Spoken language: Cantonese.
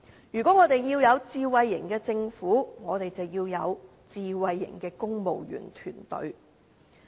如果我們要有智慧型的政府，我們便要有智慧型的公務員團隊。